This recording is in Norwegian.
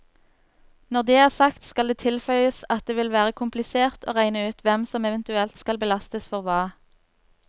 Når det er sagt, skal det tilføyes at det vil være komplisert å regne ut hvem som eventuelt skal belastes for hva.